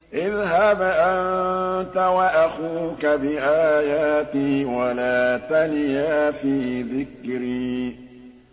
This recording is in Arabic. اذْهَبْ أَنتَ وَأَخُوكَ بِآيَاتِي وَلَا تَنِيَا فِي ذِكْرِي